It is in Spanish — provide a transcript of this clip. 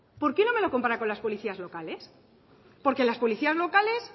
por qué no me lo compara con las policías locales porque las policías locales